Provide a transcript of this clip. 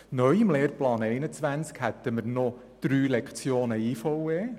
Neu im Lehrplan 21 sind drei Lektionen «Individuelle Vertiefung und Erweiterung (IVE)» vorgesehen.